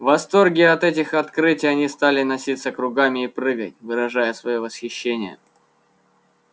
в восторге от этих открытий они стали носиться кругами и прыгать выражая своё восхищение